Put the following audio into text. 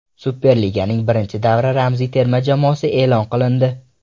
Superliganing birinchi davra ramziy terma jamoasi e’lon qilindi.